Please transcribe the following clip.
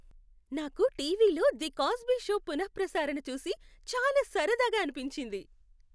నాకు టీవీలో "the Cosby show" పునఃప్రసారణ చూసి చాలా సరదాగా అనిపించింది.